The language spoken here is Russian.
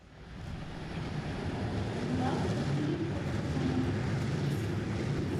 мурата васильевича фурмана